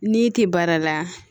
N'i tɛ baara la